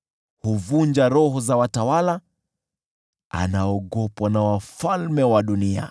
Huvunja roho za watawala; anaogopwa na wafalme wa dunia.